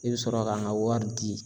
I bɛ sɔrɔ ka n ka wari di.